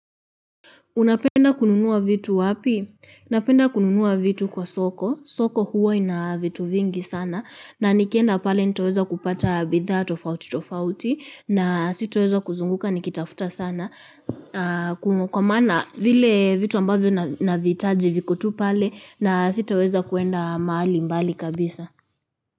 Unapenda kununua vitu wapi? Napenda kununua vitu kwa soko. Soko huwa ina vitu vingi sana na nikienda pale nitaweza kupata bidhaa tofauti tofauti na sitaweza kuzunguka nikitafuta sana. Kwa maana vile vitu ambavyo navihitaji viko tu pale na sitaweza kwenda mahali mbali kabisa.